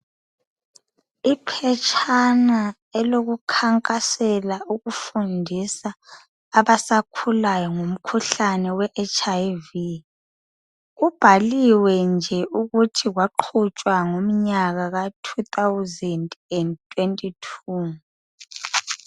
Iphetshana elokukhankasela ukufundisa abasakhulayo ngomkhuhlane we HIV.Kubhaliwe ukuthi kwaqhutshwa ngomnyaka ka "2022".